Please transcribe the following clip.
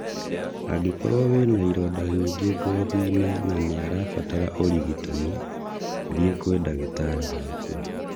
Angĩkorwo wĩna ironda nyingi ngothinĩ na nĩarabatara ũrigitani, thiĩ kwĩ dagĩtarĩ waku